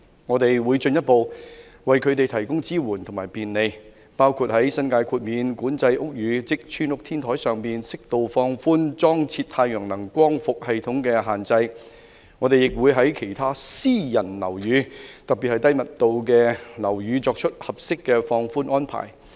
我們會進一步為他們提供支援與便利，包括在新界豁免管制屋宇，即'村屋'天台上，適度放寬裝設太陽能光伏系統的限制；我們亦會在其他私人樓宇，特別是低密度樓宇，作出合適的放寬安排。